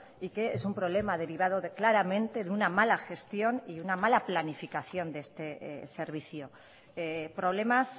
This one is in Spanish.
y que es un problema derivado claramente de una mala gestión y una mala planificación de este servicio problemas